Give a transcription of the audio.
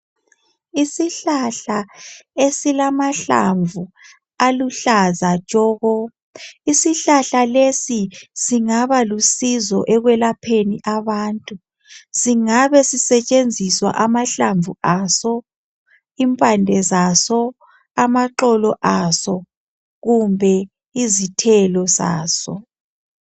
Isihlahla esilamahlamvu aluhlaza tshoko. Isihlahla lesi singaba lusizo ekwelapheni abantu. Singabe sisetshenziswa amahlamvu aso, impande zaso, amaxolo aso kumbe izithelo zaso.